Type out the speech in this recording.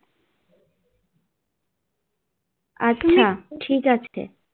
আচ্ছা ঠিক আছে